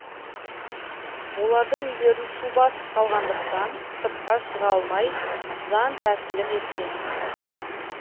олардың үйлерін су басып қалғандықтан сыртқа шыға алмай жантәсілім еткен